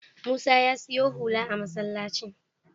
Musa ya siyo hula a masallacin.